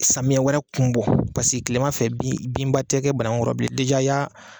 Samiyɛ wɛrɛ kun bɔ paseke kilema fɛ bin binba tɛ kɛ banagun kɔrɔ bile y'a.